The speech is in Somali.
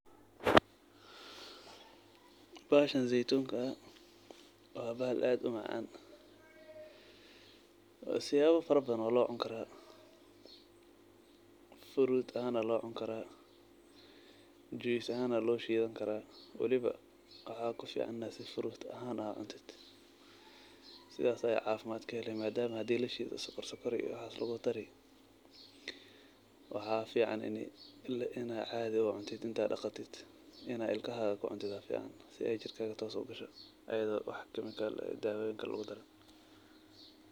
Bahashan zeytunka ah wa bahal aad umacan siyawa fara badan walocuni kara, furut ahan walacuni kara, juice ahan loshidani kara waliba waxa kufican inad furut ahan ucuntid sidas aya cafimad kaheli madam hadi lashido sokor iyo waxas lugudarayo. Waxa fican ina cadii ucuntid intad daqatid ad ilkaha kucuntid sii ay jirkaga sitoos ah ugasho iyado wax kemikal ah dawoyin kale lugudarin.